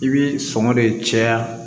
I bi sɔngɔ de caya